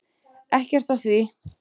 Ekkert að því.